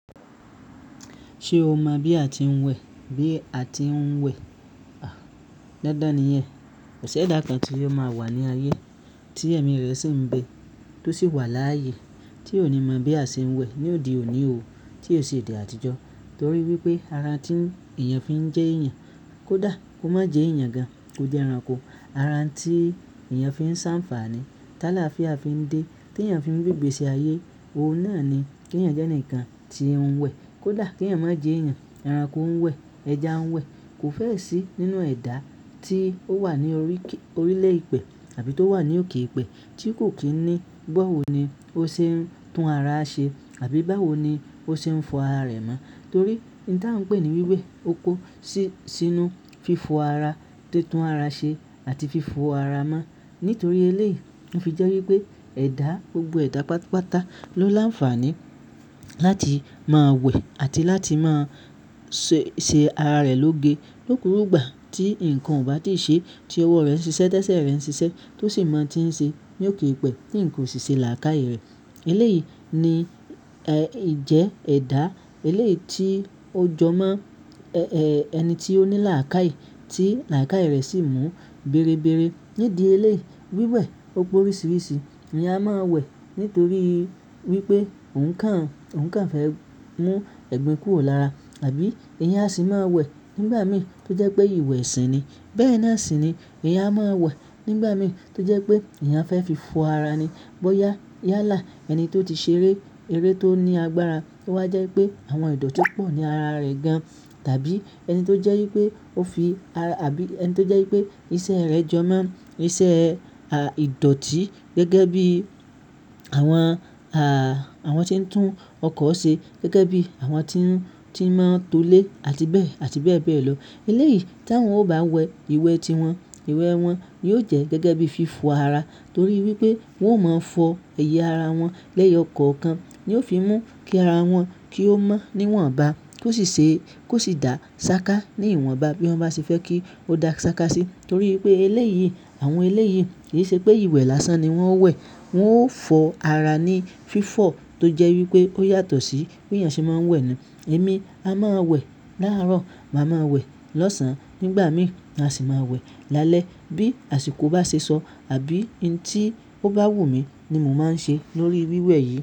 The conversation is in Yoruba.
Ṣé o mọ bí a ti ń wẹ̀? Bí a ti ń wẹ̀? Dandan nìyẹn. Kò sí ẹ̀dà kan tí yóò máa wà ní ayé tí ẹ̀mí rẹ̀ sì ń bé, tó sì wà láàyè tí ó ò ní mọ bí a ṣe ń wẹ̀. Ni òde òní oo, tí ò sì odé àtijọ́ torí wípé ara tí èèyàn fi ń jẹ́ èèyàn, kó dà, kó má jẹ èèyàn gan, ó jẹ ẹranko. Ara tí èèyàn fi ń ṣànfààní, tálá fi à fi ń dé, tí èèyàn fi ń gbégbé sí ayé, ohun náà ni kí èèyàn jẹ́ ǹkan tí ẹ ń wẹ̀. Kó dà kí èèyàn má jẹ èèyàn, ẹranko ń wẹ̀, ẹja ń wẹ̀, kò fẹ́ẹ̀ sí nínú ẹ̀dà tí ó wà ní orí, orílẹ̀ ìpẹ̀ àbí tó wà ní òkè ìpẹ̀ tí kò kí ní gbọ́ òní ó ṣe ń tún ara ṣe àbí báwo ni ó ṣe ń fọ ara rẹ̀ mọ́ torí ohuń ta ń pè ní wíwẹ̀ oko sí, sínú fífọ ara, títún ara ṣe àti fífọ ara mọ́. Nítorí eléyìí, ó fi jẹ́ wípé ẹ̀dá, gbogbo ẹ̀dá pátápátá ló láǹfààní láti máa wẹ̀ àti láti máa ṣé, ṣe ara rẹ̀ lóge lókurúgbà tí ǹkan ò bá tíì ṣe, tí ọwọ́ rẹ̀ ń ṣiṣẹ́, tẹ́sẹ̀ rẹ̀ ń ṣiṣẹ́ tó sì mọ tí ń ṣe ní òkè ìpẹ̀ tí ǹkan ò sì ṣe làákàyè rẹ̀. Eléyìí ni, ẹ, ìjẹ ẹ̀dá eléyìí tí ó jọmọ́ ẹ, ẹ, ẹni tí ó ní làákàyè tí làákàyè rẹ̀ sì mú berebere. Nídìí eléyìí, wíwẹ̀ opè oríṣiríṣi ni a máa ń wẹ̀ nítorí wípé òhuǹ kàn, òhuǹ kàn fẹ́ mú ẹ̀gbin kúrò lára. Àbí èèyàn sì máa ń wẹ̀ nígbà mìíràn tó jẹ́ pé ìwẹ̀ ìsìn ni. Bẹ́ẹ̀ náà sì ni èèyàn a máa ń wẹ̀ nígbà mìíràn tó jẹ́ pé èèyàn fẹ́ fi fọ ara ni. Bóyá yálà ẹni tó ti ṣeré, eré tó ní agbára kó wá jẹ́ pé àwọn ìdọ̀ tí ó pò ní ara rẹ̀ gan. Tàbí ẹni tó jẹ́ wípé ó fi ara àbí ẹni tó jẹ́ wípé iṣẹ́ rẹ̀ jọmọ́, iṣẹ́ ìdọ̀tí gẹ́gẹ́ bí àwọn a, àwọn tí ń tún ọkọ̀ ṣe, gẹ́gẹ́ bí àwọn tí ń, tí máa ń tolé àti bẹ́ẹ̀, àti bẹ́ẹ̀ bẹ́ẹ̀ lọ. Eléyìí tí wọ́n ò bá wẹ̀, ìwẹ̀ tí wọn, ìwẹ̀ wọn yóò jẹ́ gẹ́gẹ́ bíi fífọ ara torí wípé wọn ò mọ fọ ẹ̀yà ara wọn. Lẹ́yọ̀ kan kan ni ó fi mú kí ara wọn, kí ó mọ́ níwọ̀nba kí ó sì ṣe, kó sì dà sáká níwọ̀nba bí wọ́n bá ṣe fẹ́ kí ó dà sáká sí torí wípé eléyìí, àwọn eléyìí kì í ṣe pé ìwẹ̀ lásán ni wọ́n ń wẹ̀. Wọn ó fọ ara ní fífọ̀ tó jẹ́ wípé ó yàtọ̀ sí bí èèyàn ṣe máa ń wẹ̀ ni. Èmi a máa wẹ̀ láàárọ̀, màá ma wẹ̀ lọ́sàn-án, nígbà mìí ma sì máa wẹ̀ lálẹ́ bí àsìkò bá ṣe sọ àbí ohun tí ó bá wù mí ni mò ma ń ṣe lórí wíwẹ̀ yìí.